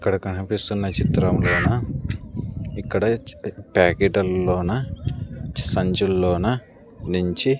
ఇక్కడ కనిపిస్తున్న చిత్రంలోన ఇక్కడ ప్యాకెట ల్లోన సంచుల్లోన నించి --